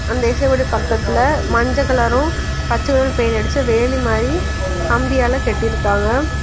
அந்த இசையோட பக்கத்துல மஞ்ச கலரு பச்செ கலர் பெயிண்ட் அடிச்சு வேலி மாரி கம்பியால கட்டியிருக்காங்க.